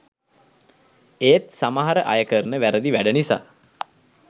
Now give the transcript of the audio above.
ඒත් සමහර අයකරන වැරදි වැඩ නිසා